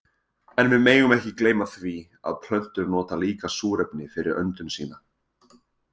En við megum ekki gleyma því að plöntur nota líka súrefni fyrir öndun sína.